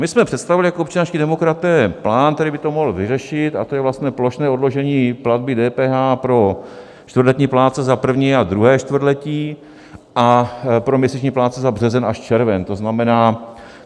My jsme představili jako občanští demokraté plán, který by to mohl vyřešit, a to je vlastně plošné odložení platby DPH pro čtvrtletní plátce za první a druhé čtvrtletí a pro měsíční plátce za březen až červen.